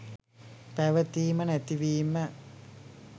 පැවතීම නැතිවීම